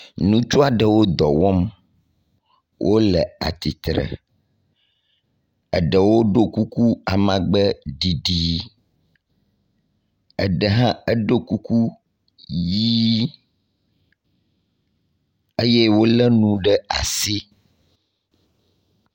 nutsuaɖewo dɔwɔm wóle atitre eɖewo ɖó kuku amagbeɖiɖi eɖe hã eɖó kuku yii eye wóle nu ɖe asi